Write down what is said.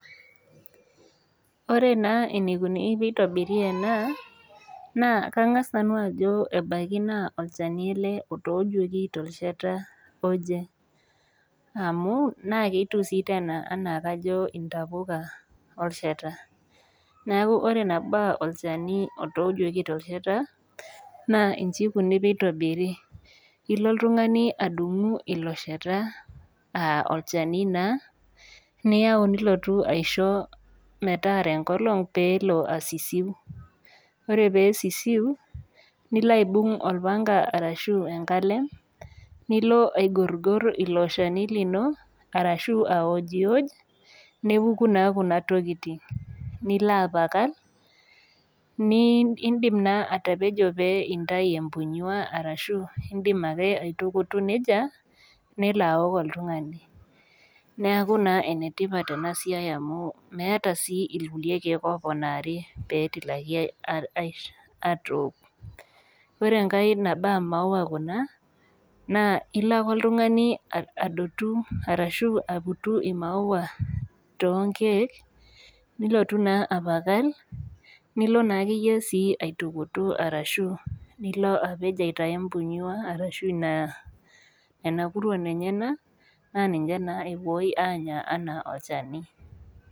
Ore naa enikoni tenitobiri ena naa kangas nanu ajo ebaiki naa olchani ele otoojuoki tolchani oje naa ketiu sii tena anaa intapuka olchata, niaku ore nabaa natojuoki tolchata naa inji ikoni tenitobir , naa ilo oltungani adumu olchani liloshata niyau nilotu aisho metaara enkolong pelo asisiu , ore pesisiu nilo aibung orpanka ashu enkalem, nilo aigorgor iloshani lino ashu awojwoj , nepuku naa kuna tokitin ,nilo apakany ,nindim naa atapejo pee intayu empunyua ashu indimake akutu nejia ,nelo aok oltungani . Neku naa enetipat enasiai amu meeta sii irkulie kiek oponari petilaki atok. Ore enkae naba omaua kuna naa ilo ake oltungani adotu ashu aputu imaua nilotu apakany nilo naa akeyie sii aitukutu arashu nilo apej aitayu empunyua arashu ina , nena kuruon enyenak naa ninche naa epuoi anya ana olchani.